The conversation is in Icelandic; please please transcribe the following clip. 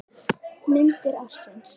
Myndir ársins